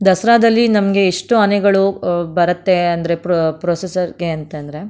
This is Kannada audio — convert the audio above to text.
ದಸರಾದಲ್ಲಿ ನಮಗೆ ಇಷ್ಟು ಆನೆಗಳು ಆ ಬರುತ್ತೆ ಅಂದರೆ ಪ್ರೊ ಪ್ರೊಸೆಸರ್ ಗೆ ಅಂತ ಅಂದ್ರೆ --